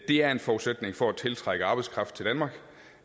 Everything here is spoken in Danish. det er en forudsætning for at tiltrække arbejdskraft til danmark